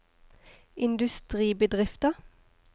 industribedrifter